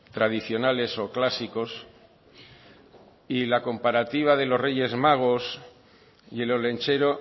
tradicionales o clásicos y la comparativa de los reyes magos y el olentzero